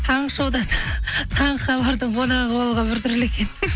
таңғы шоуда таңғы хабардың қонағы болған бір түрлі екен